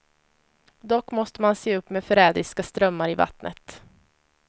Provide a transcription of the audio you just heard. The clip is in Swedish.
Dock måste man se upp med förrädiska strömmar i vattnet.